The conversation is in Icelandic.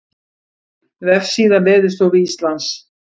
Vefsíða Veðurstofu Íslands